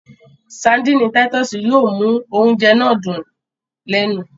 Sárḍíńí Títùsí yóò mu ọ̀unjẹ́ náà dún lẹ́nu.